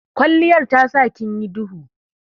Kwalliyar tasa kinyi dubu.